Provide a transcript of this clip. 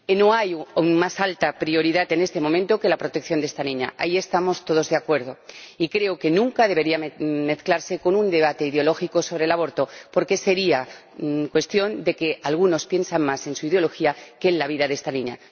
No hay más alta prioridad, en este momento, que la protección de esta niña ―ahí estamos todos de acuerdo― y creo que nunca debería mezclarse con un debate ideológico sobre el aborto, porque sería cuestión de que algunos piensan más en su ideología que en la vida de esta niña.